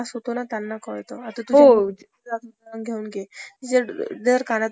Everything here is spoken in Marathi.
कुटिरोद्योग आणि लघुउद्योगांना अं अनन्यसाधारण महत्व आहे. विशेषतः ग्रामीण भागात र~ रोजगारवृद्धी